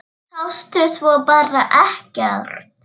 Sástu svo bara ekkert?